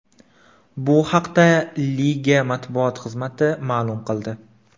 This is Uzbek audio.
Bu haqda liga matbuot xizmati ma’lum qildi.